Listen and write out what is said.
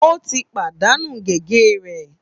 Ó ti pàdánù gègé rẹ̀